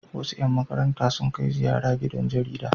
Wasu 'yan markaranta sun kai ziyara gidan jarida.